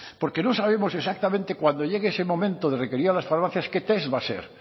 porque no sabemos exactamente cuando llegue ese momento de requerir a las farmacias qué test va a ser